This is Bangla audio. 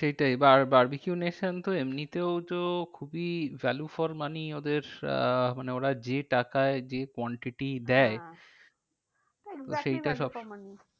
সেইটাই barbeque nation তো এমনিতেও তো খুবই value for money ওদের আহ মানে ওরা যে টাকায় যে quantity দেয়, হ্যাঁ exactly valu for money